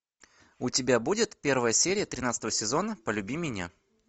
у тебя будет первая серия тринадцатого сезона полюби меня